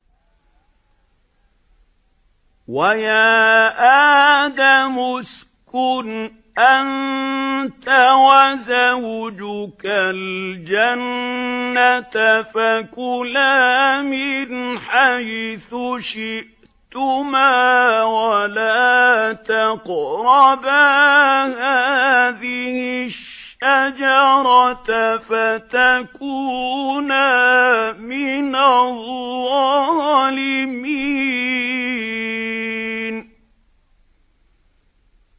وَيَا آدَمُ اسْكُنْ أَنتَ وَزَوْجُكَ الْجَنَّةَ فَكُلَا مِنْ حَيْثُ شِئْتُمَا وَلَا تَقْرَبَا هَٰذِهِ الشَّجَرَةَ فَتَكُونَا مِنَ الظَّالِمِينَ